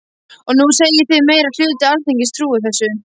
Og nú segið þið að meiri hluti Alþingis trúi þessu.